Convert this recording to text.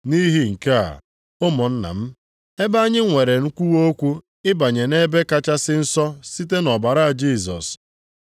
Nʼihi nke a, ụmụnna m, ebe anyị nwere nkwuwa okwu ịbanye nʼEbe Kachasị Nsọ site nʼọbara Jisọs,